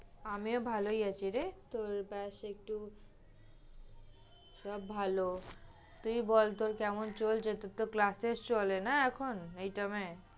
আমিও ভালোই আছি রে। তোর bass একটু সব ভালো, তুই বল কেমন চলছে, তোর তো classtest চলে না এখন এই time এ?